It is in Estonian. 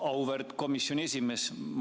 Auväärt komisjoni esimees!